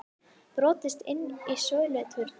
Brotist inn í söluturn